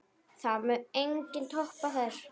Það mun enginn toppa þær.